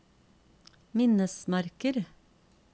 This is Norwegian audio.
minnesmerker